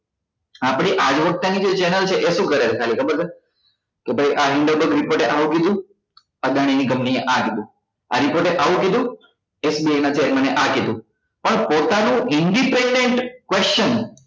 આપડી આજ્વાકતા ની channel છે એ શું કરે છે વિચારો ખબર છે કે ભાઈ આ indian report એ આવું કીધું અદાણી ની company એ આ કીધું આ report આવું કીધું SBI ના chairman એ આવું કીધું પણ પોતાનું independent question